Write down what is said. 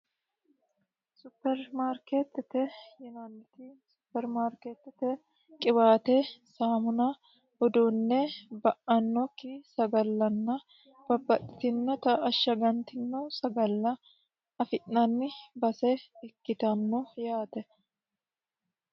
Supermaarketete yinanni woyiite uduunne intanni sagale babbaxitino garinni ashagantinnota afi'nanni baseeti yaate.